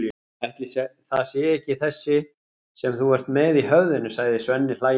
Ætli það sé ekki þessi sem þú ert með í höfðinu, sagði Svenni hlæjandi.